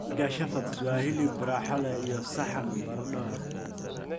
Keega Shepherd's waa hilib raaxo leh iyo saxan baradho ah.